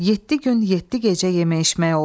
Yeddi gün, yeddi gecə yeyib içmək oldu.